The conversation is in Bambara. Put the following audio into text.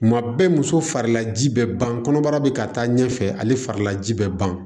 Kuma bɛɛ muso farila ji bɛ ban kɔnɔbara bɛ ka taa ɲɛfɛ ale farila ji bɛ ban